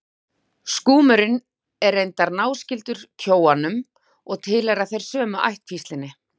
Skúmurinn er reyndar náskyldur kjóanum og tilheyra þeir sömu ættkvíslinni.